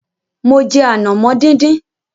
Mo jẹ ànàmọ́ díndín.